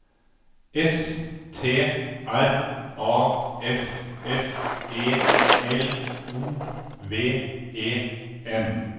S T R A F F E L O V E N